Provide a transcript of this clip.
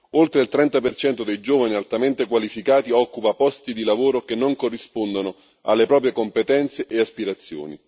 Oltre il 30 dei giovani altamente qualificati occupa posti di lavoro che non corrispondono alle proprie competenze e aspirazioni.